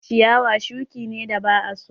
Ciyawa shuki ne da ba a so